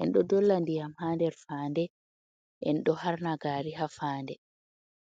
en ɗo dolla ndiyam ha nder, fande en do harna gari ha fande.